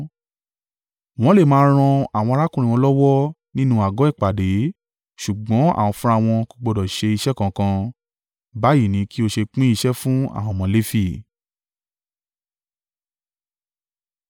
Wọ́n le máa ran àwọn arákùnrin wọn lọ́wọ́ nínú àgọ́ ìpàdé ṣùgbọ́n àwọn fúnra wọn kò gbọdọ̀ ṣe iṣẹ́ kankan. Báyìí ni kí o ṣe pín iṣẹ́ fún àwọn ọmọ Lefi.”